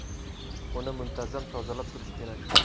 Uni muntazam tozalab turish kerak.